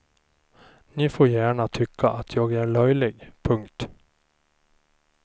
Ni får gärna tycka att jag är löjlig. punkt